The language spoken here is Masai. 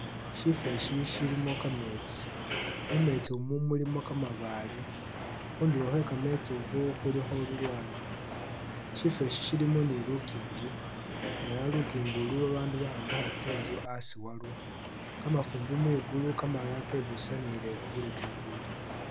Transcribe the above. Shifo eshi shilimo kameetsi mumeetsi mu mulimo kamabaale khundulo khwe kameetsi khu khulikho lulwanda shifo eshi shilimo ni lukingi ela lukingi ulu babandu bayombekha tsi'nzu a'asi walwo, kamafumbi mwigulu kamalala kebusanile khulukingi ulu